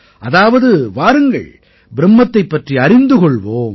அதாவது வாருங்கள் பிரும்மத்தைப் பற்றி அறிந்து கொள்வோம்